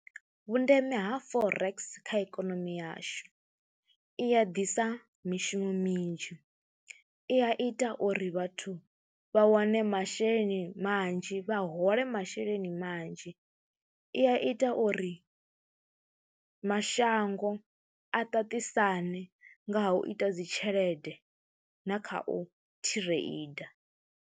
Vhundeme ha Forex kha ikonomi yashu, i ya ḓisa mishumo minzhi, i ya ita uri vhathu vha wane masheleni manzhi, vha hole masheleni manzhi, i ya ita uri mashango a ṱaṱisane nga ha u ita dzi tshelede na kha u thireinda.